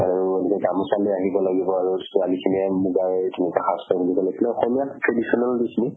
আৰু গামোছা আনিব লাগিব আৰু ছোৱালী খিনিয়ে মুগাৰ তেনেকা সাজ ৰ্পিন্ধিব লাগিব। অসমীয়া traditional dress বোৰ।